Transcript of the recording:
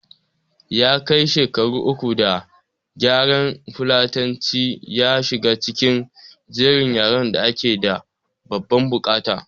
Ya kai shekaru uku da yaran fulatanci ya shiga cikin jerin yaran da ake da babban bukata